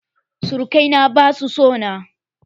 Surukai na basu so na.